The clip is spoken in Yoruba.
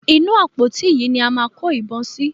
Inú àpótí yìí ni a máa kó ìbọn sí.